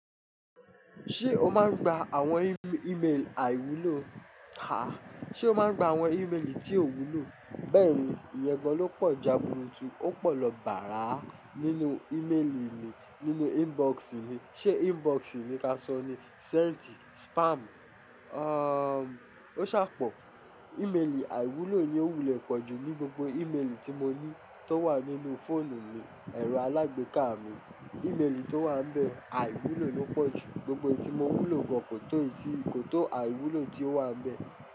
Ṣé o máa ń gba àwọn ímeelì àìwúlò? Háà, ṣe o máa ń gba àwọn ímelì tí o wúlò? Bẹ́ẹ̀ni, ìyẹ́ gan ló pọ̀ jaburutu ó pọ̀ lọ bàárà nínú ímeelì mi, nínú inbox mi. Ṣé inbox ni ká sọ ni? Sent, spam, o ṣàa pọ̀. Ímeelì àìwúlò yi o wulẹ̀ pọ̀jù ní gbogbo ímelì tí mo ní tó wà nínú fóònù mi, ẹ̀rọ alágbèéká mi. Ímelì tó wà níbẹ̀, àìwúlò ló pọ̀jù. Gbogbo èyí tí mo wúlò gan kò tó èyí, kò tó àìwúlò tí ó wà níbẹ̀.